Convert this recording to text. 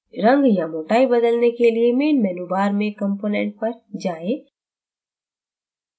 रंग या मोटाई बदलने के लिए main menu bar में component पर जाएं